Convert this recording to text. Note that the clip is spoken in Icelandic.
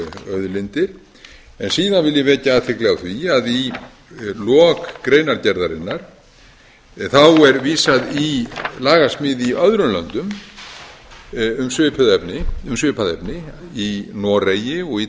auðlindir en síðan vil ég vekja athygli á því að í lok greinargerðarinnar er vísað í lagasmíð í öðrum löndum um svipað efni í noregi og í